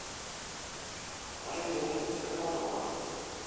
положи деньги на телефон друга